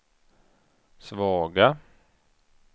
svaga